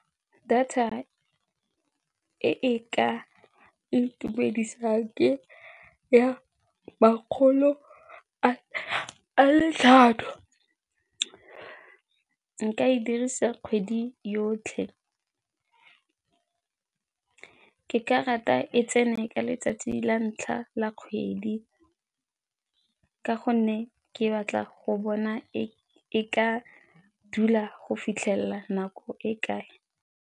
Data e e ka itumedisang ke ya makgolo a le tlhano, nka e dirisa kgwedi yotlhe. Ke ka rata e tsene ka letsatsi la ntlha la kgwedi ka gonne ke batla go bona e ka dula go fitlhelela nako e kae.